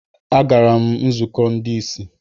Agara m nzukọ ndị ìsì.